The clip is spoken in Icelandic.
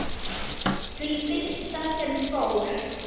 Því fyrsta sem fór.